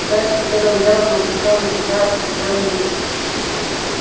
перси первым делом напустил на себя оскорблённый вид